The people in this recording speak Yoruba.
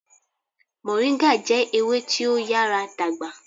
Moringa jẹ ewe ti o nyara dagba